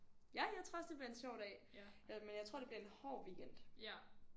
Ja jeg tror også det bliver en sjov dag øh men jeg tror det bliver en hård weekend